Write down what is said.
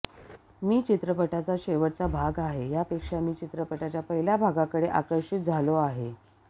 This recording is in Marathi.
मी चित्रपटाचा शेवटचा भाग आहे यापेक्षा मी चित्रपटाच्या पहिल्या भागाकडे आकर्षित झालो आहे